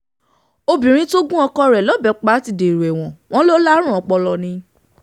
obìnrin tó gun ọkọ rẹ̀ lọ́bẹ̀ pa ti dèrò ẹ̀wọ̀n wọn lọ lárùn ọpọlọ ni